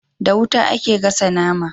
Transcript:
Da wuta ake gasa nama